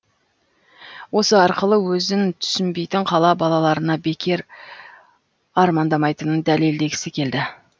осы арқылы өзін түсінбейтін қала балаларына бекер армандамайтынын дәлелдегісі келді